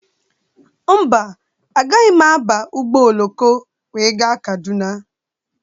Mba, agaghị m aba ụgbọ oloko wee gaa Kaduna.